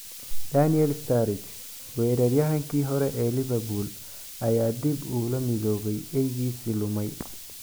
Daniel Sturridge: Weeraryahankii hore ee Liverpool ayaa dib ula midoobay Eygiisii ​​lumay